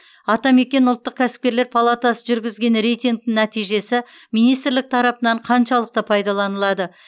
атамекен ұлттық кәсіпкерлер палатасы жүргізген рейтингтің нәтижесі министрлік тарапынан қаншалықты пайдаланылады